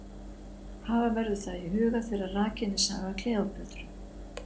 Hafa verður það í huga þegar rakin er saga Kleópötru.